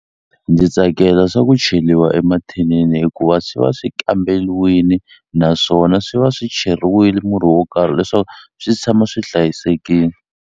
Ndzi tsakela swa ku cheliwa emathinini hikuva swi va swi kambeliwini naswona swi va swi cheriwile murhi wo karhi leswaku swi tshama swi hlayisekini.